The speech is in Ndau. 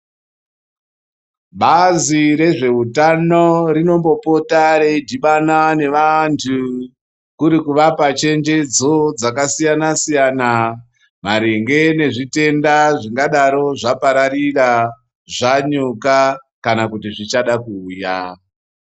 Bazi rezveutano rinombopota reidhibana nevantu kuri kuvapa chenjedzo dzakasiyana -siyana maringe nezvitenda zvingadaro zvapararira, zvanyuka kana kuti zvichada kuuya.